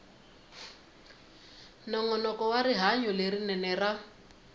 nongonoko wa rihanyo lerinene ra